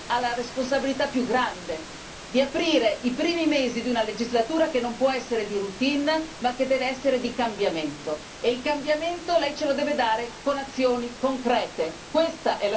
Ma lei oggi ha la responsabilità più grande di aprire i primi mesi di una legislatura che non può essere di routine ma che deve essere di cambiamento. E il cambiamento lei ce lo deve dare con azioni concrete.